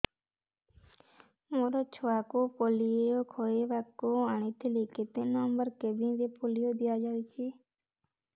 ମୋର ଛୁଆକୁ ପୋଲିଓ ଖୁଆଇବାକୁ ଆଣିଥିଲି କେତେ ନମ୍ବର କେବିନ ରେ ପୋଲିଓ ଦିଆଯାଉଛି